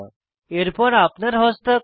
এরপর আপনার হস্তাক্ষর